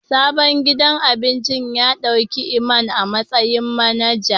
Sabon gidan abincin ya dauki Iman a matsayin manager.